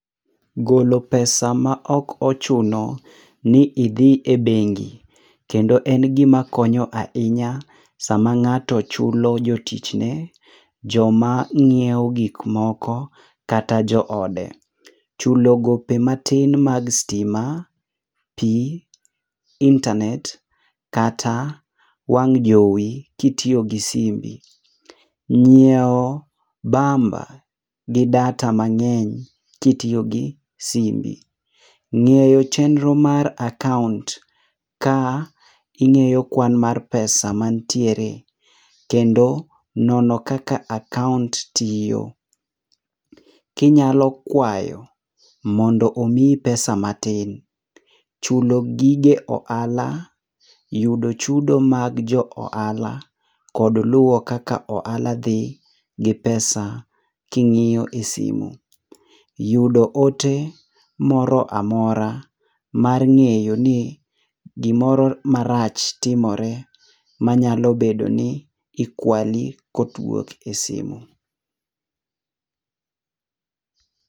Golo pesa ma ok ochuno ni idhi e bengi kendo en gi ma konyo ahinya sa ma ng'ato chulo jo tich ne jo ma ngiewo gik moko kata jo ode. Chulo gope matin mag stima ,pi ,intanet kata wang' jowoi ki itiyo gi simbi ,ngiewo bamba gi data mang'eny ki itiyo gi simbi, ng'eyo chendo mar akaunt ka ingiyo kwan mar pesa ma nitiere kendo nono kaka akaunt tiyo. Ki inyalo kwayo mondo omiyi pesa matin, chulo gige ohala ,yudo chudo mag jo ohala, kod luwo kaka ohala dhi gi pesa ki ing'iyo e simo. Yudo ote moro amora mar ng'eyo ni gi moro marach timore ma nyalo bedo ni ikwali ko owuok e simo.